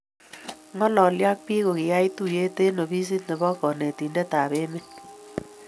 Ng'alolii ak biik ko kiyay tuyee eng ofisit ne be kantointet ab emet.